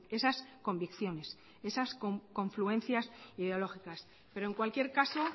esas convicciones esas confluencias ideológicas pero en cualquier caso